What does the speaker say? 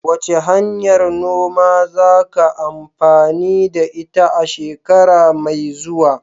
Wace hanyar noma zaka amfani da ita a shekara mai zuwa?